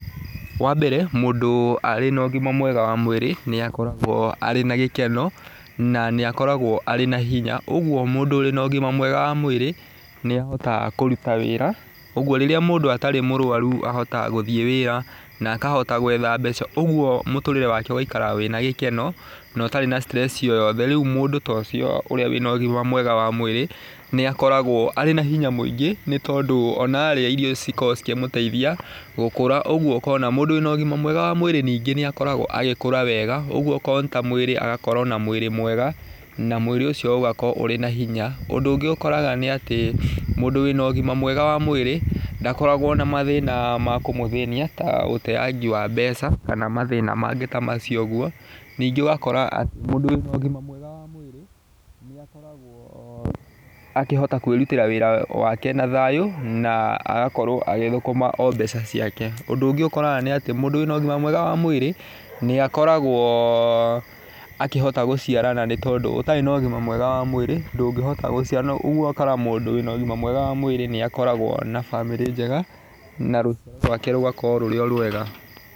Wa mbere mũndũ arĩ na ũgima mwega mwĩrĩ nĩ akoragwo arĩ na gĩkeno, na nĩ akoragwo erĩ na hinya. Ũguo mũndo ũrĩ na ũgima mwega wa mwĩrĩ nĩ ahotaga kũruta wĩra, ũguo rĩrĩa mũndũ atarĩ mũrwaru ahotaga gũthiĩ wĩra na akahota gwetha mbeca, ũguo mũtũrĩre wake ũgaika wĩna gĩkeno, na ũtarĩ na stress o yothe. Rĩu mũndũ ta ũcio ũrĩa wĩna ũgima mwega wa mwĩrĩ nĩ akoragwo arĩ na hinya mwĩngĩ nĩ tondũ ona arĩa irio cikoragwo cikĩmũteithia gũkũra, ũguo ũkona mũndũ wĩna ũgima mwega wa mwĩrĩ ningĩ nĩ akoragwo agĩkũra wega, ũguo okorwo nĩ ta mwĩrĩ agakorwo na mwĩrĩ mwega, na mwĩrĩ ũcio ũgakorwo ũrĩ na hinya. Ũndũ ũngĩ ũkoraga nĩ atĩ, mũndũ wĩna ũgima mwega wa mwĩrĩ ndakoragwo na mathĩna ma kũmũthĩnia, ta ũteangi wa mbeca kana mathĩna mangĩ ta macio ũguo. Ningĩ ũgakora atĩ mũndũ wĩna ũgima mwega wa mwĩrĩ nĩ akoragwo akĩhota kwĩrutĩra wĩra wake na thayũ na agakorwo agĩthũkũma o mbeca ciake. Ũndũ ũngĩ ũkoraga nĩ atĩ mũndũ wĩna ũgima mwega wa mwĩrĩ nĩ akoragwo akĩhota gũciarana nĩ tondu ũtarĩ na ũgima mwega wa mwĩrĩ ndũngĩhota gũciarana. Na riũ ũgakora mundũ wĩna ũgima mwega wa mwĩrĩ nĩ akoragwo ma bamĩrĩ njega na rũciaro rwake rũgakorwo rurĩ o rwega.